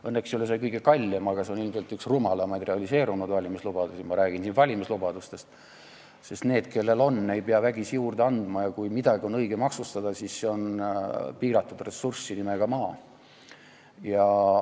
Õnneks ei ole see kõige kallim lubadus, aga see on üks rumalamaid realiseerunud valimislubadusi – ma räägin valimislubadustest –, sest nendele, kellel on, ei pea vägisi juurde andma, ja kui midagi on õige maksustada, siis see on piiratud ressurss nimega "maa".